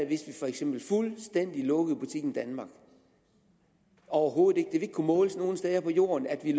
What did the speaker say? hvis vi for eksempel fuldstændig lukkede butikken danmark overhovedet ikke det ville ikke kunne måles nogen steder på jorden at vi